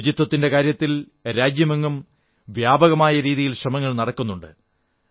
ശുചിത്വത്തിന്റെ കാര്യത്തിൽ രാജ്യമെങ്ങും വ്യാപകമായ രീതിയിൽ ശ്രമങ്ങൾ നടക്കുന്നുണ്ട്